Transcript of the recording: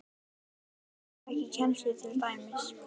Af hverju ferðu ekki í kennslu til dæmis?